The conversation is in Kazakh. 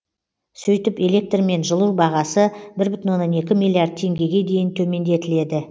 сөйтіп электр мен жылу бағасы бір бүтін оннан екі миллиард теңгеге дейін төмендетіледі